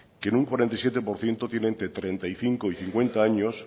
que en un cuarenta y siete por ciento tiene entre treinta y cinco y cincuenta años